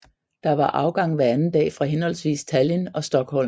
Der var afgang hver anden dag fra henholdsvis Tallinn og Stockholm